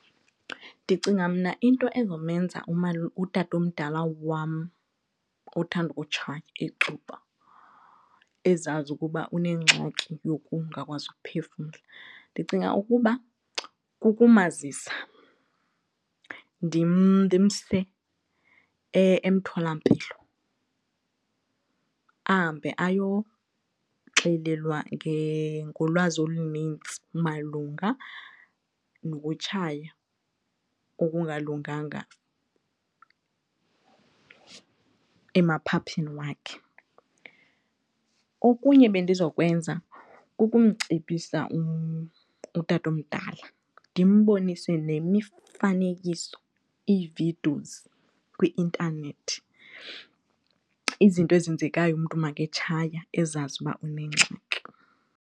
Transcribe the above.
Ndicinga mna into ezomenza utatomdala wam othanda ukutshaya icuba ezazi ukuba unengxaki yokungakwazi ukuphefumla ndicinga ukuba kukumazisa ndimse emtholampilo ahambe ayoxelelwa ngolwazi olunintsi malunga nokutshaya okungalunganga emaphaphini wakhe. Okunye bendizokwenza kukumcebisa utatomdala ndimbonise nemifanekiso, ii-videos kwi-intanethi izinto ezenzekayo maketshaya ezazi uba unengxaki.